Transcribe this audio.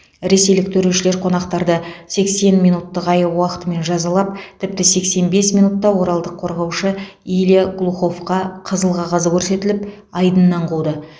ресейлік төрешілер қонақтарды сексен минуттық айып уақытымен жазалап тіпті сексен бес минутта оралдық қорғаушы илья глуховқа қызыл қағаз көрсетіліп айдыннан қуды